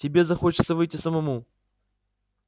тебе захочется выйти самому